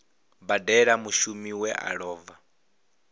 badela mushumi we a lova